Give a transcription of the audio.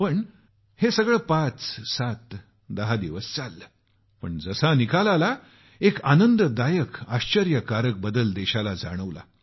पण हे सर्व पाच सात दहा दिवस चाललं पण जसा निकाल आला एक आनंददायक आश्चर्यकारक बदल देशाला जाणवला